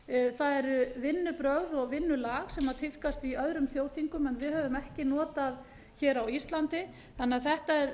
verið það eru vinnubrögð og vinnulag sem tíðkast í öðrum þjóðþingum en við höfum ekki notað hér á íslandi þannig að þetta er